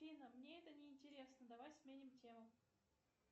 афина мне это не интересно давай сменим тему